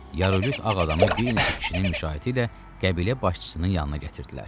Yaralıt ağ adamı bir neçə kişinin müşayiəti ilə qəbilə başçısının yanına gətirdilər.